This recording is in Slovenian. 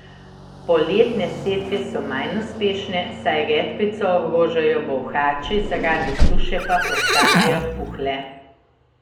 Poletne setve so manj uspešne, saj redkvico ogrožajo bolhači, zaradi suše pa postanejo puhle.